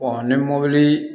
ni mobili